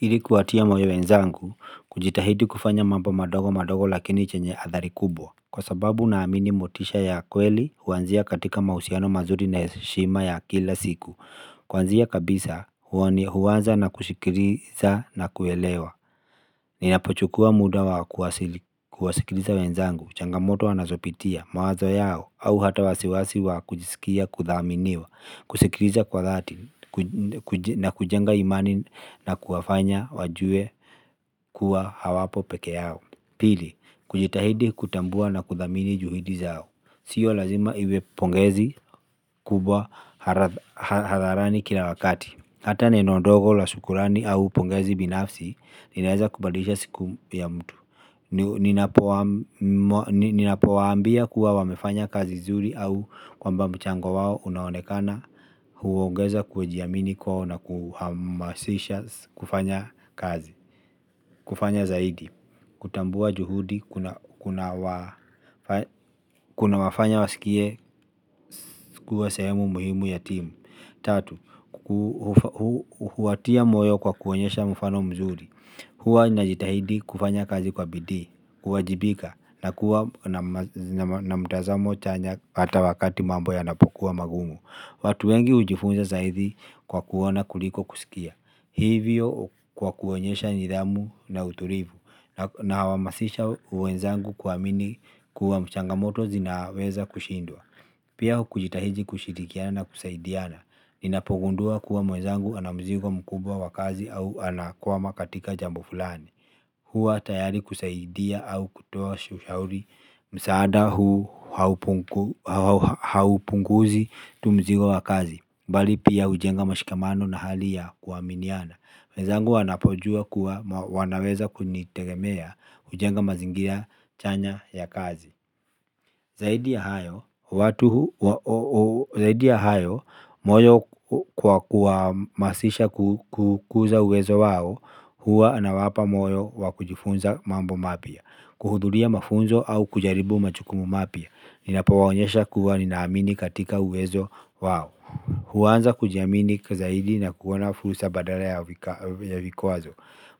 Ili kuwatia moyo wenzangu kujitahidi kufanya mambo madogo madogo lakini chenye athari kubwa. Kwa sababu naamini motisha ya kweli huanzia katika mahusiano mazuri na heshima ya kila siku. Kwanzia kabisa huanza na kusikiliza na kuelewa. Ninapochukua muda wa kuwasikiliza wenzangu, changamoto anazopitia, mawazo yao au hata wasiwasi wa kujisikia kuthaminiwa. Kusikiliza kwa dhati na kujenga imani na kuwafanya wajue kuwa hawapo pekee yao. Pili, kujitahidi kutambua na kuthamini juhidi zao. Sio lazima iwe pongezi kubwa hadharani kila wakati. Hata neno ndogo la shukrani au pongezi binafsi inaweza kubadilisha siku ya mtu. Ninapowaambia kuwa wamefanya kazi zuri au kwamba mchango wao unaonekana huogeza kujiamini kwao na kuhamasisha kufanya kazi. Kufanya zaidi. Kutambua juhudi kunawafanya wasikie kuwa sehemu muhimu ya timu. Tatu, huwatia moyo kwa kuonyesha mfano mzuri. Huwa ninajitahidi kufanya kazi kwa bidii, kuwajibika na kuwa na mtazamo chanya hata wakati mambo yanapokuwa magumu. Watu wengi hujifunza zaidi kwa kuona kuliko kusikia. Hivyo kwa kuonyesha nidhamu na utulivu nahamasisha wenzangu kuamini kuwa changamoto zinaweza kushindwa. Pia kujitahidi kushirikiana na kusaidiana ninapogundua kuwa mwenzangu ana mzigo mkubwa wa kazi au anakwama katika jambo fulani huwa tayari kusaidia au kutoa ushauri msaada huu haupunguzi tu mzigo wa kazi bali pia hujenga mashikamano na hali ya kuaminiana wenzangu wanapojua kuwa wanaweza kunitegemea hujenga mazingira chanya ya kazi. Zaidi ya hayo, moyo kwa kuwahamasisha kukuza uwezo wao, huwa nawapa moyo wa kujifunza mambo mapya. Kuhudhuria mafunzo au kujaribu majukumu mapya. Ninapowaonyesha kuwa ninaamini katika uwezo wao. Huanza kujiamini zaidi na kuona fursa badala ya vikwazo.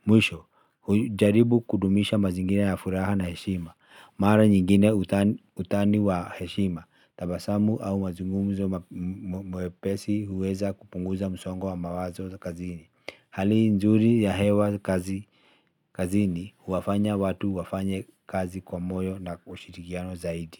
Mwisho, hujaribu kudumisha mazingira ya furaha na heshima. Mara nyingine utani wa heshima, tabasamu au mazumumzo mwepesi huweza kupunguza msongo wa mawazo za kazini. Hali nzuri ya hewa kazini huwafanya watu wafanye kazi kwa moyo na kwa ushirikiano zaidi.